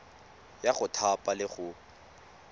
ya go thapa le go